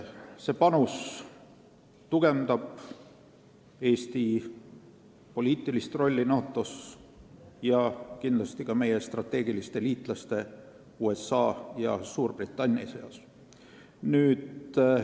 See panus tugevdab Eesti poliitilist rolli NATO-s ning kindlasti ka meie strateegiliste liitlaste USA ja Suurbritannia seas.